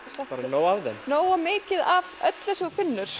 nóg af þeim nógu mikið af öllu sem þú finnur